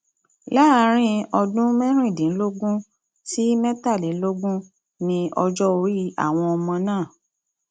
láàrin ọdún mẹrìndínlógún sí mẹtàlélógún ní ọjọ orí àwọn ọmọ náà